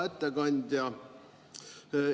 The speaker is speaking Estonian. Hea ettekandja!